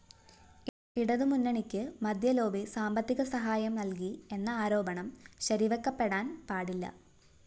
ഇടതുമുന്നണിക്ക് മദ്യലോബി സാമ്പത്തികസഹായം നല്‍കി എന്ന ആരോപണം ശരിവെക്കപ്പെടാന്‍ പാടില്ല